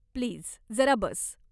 Please, जरा बस.